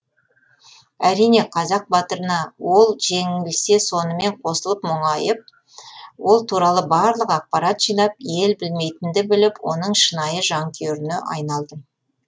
әрине қазақ батырына ол жеңілсе сонымен қосылып мұңайып ол туралы барлық ақпарат жинап ел білмейтінді біліп оның шынайы жанкүйеріне айналдым